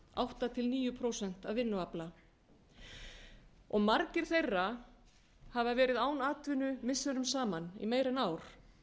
átta til níu prósent af vinnuafli margir þeirra hafa verið án atvinnu missirum saman í meira en ár það